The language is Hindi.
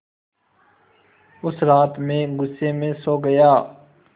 उस रात मैं ग़ुस्से में सो गया